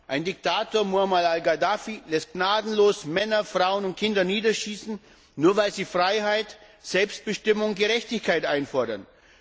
Ein Diktator, Muammar Al Gaddafi, lässt gnadenlos Männer, Frauen und Kinder niederschießen, nur weil sie Freiheit, Selbstbestimmung und Gerechtigkeit einfordern.